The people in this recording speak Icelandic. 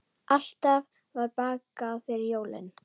Alltaf var bakað fyrir jólin.